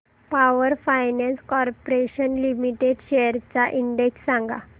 power Finance Corporation Limited shares चा index सांगा